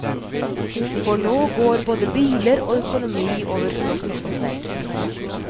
For nå går både biler og økonomi over stokk og stein.